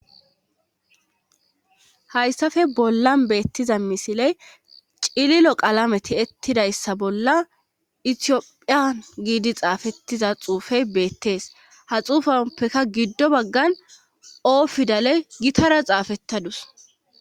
Hayssafe bollan beettiza misiley cililo qalame ti ettidayssa bolla itiyophiyan giidi xaafettiza xuufey beettees ha xuufappeka giddo baggan oofidaley gitara xaafettadus.